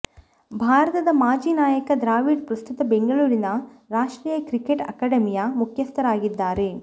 ಭಾರತದ ಮಾಜಿ ನಾಯಕ ದ್ರಾವಿಡ್ ಪ್ರಸ್ತುತ ಬೆಂಗಳೂರಿನ ರಾಷ್ಟ್ರೀಯ ಕ್ರಿಕೆಟ್ ಅಕಾಡೆಮಿಯ ಮುಖ್ಯಸ್ಥರಾಗಿದ್ದಾರೆ